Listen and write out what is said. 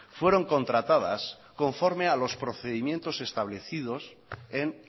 fueron contratadas conforme a los procedimientos establecidos en